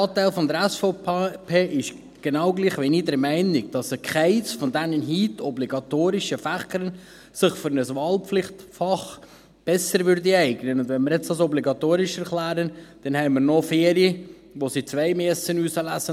Ein guter Teil der SVP ist genau gleich wie ich der Meinung, dass sich keines der heute obligatorischen Fächer für ein Wahlpflichtfach besser eignen würde, und wenn wir dies jetzt als obligatorisch erklären, haben wir noch vier, von denen sie zwei auswählen müssen;